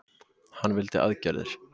Hann vildi aðgerðir.